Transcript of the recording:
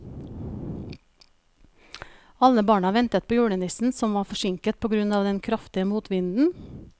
Alle barna ventet på julenissen, som var forsinket på grunn av den kraftige motvinden.